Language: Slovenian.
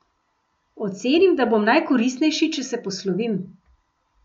Ocenim, da bom najkoristnejši, če se poslovim.